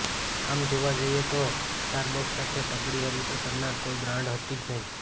આમ જોવા જઈએ તો સ્ટારબક્સ સાથે તગડી હરીફઈ કરનાર કોઈ બ્રાન્ડ હતી જ નહીં